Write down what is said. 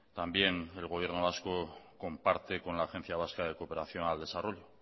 también el gobierno vasco comparte con la agencia vasca de cooperación al desarrollo